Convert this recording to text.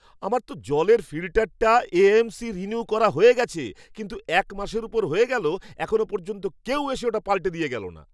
আমার তো জলের ফিল্টারটার এ.এম.সি রিনিউ করা হয়ে গেছে, কিন্তু এক মাসের ওপর হয়ে গেলো এখনও পর্যন্ত কেউ এসে ওটা পাল্টে দিয়ে গেলো না!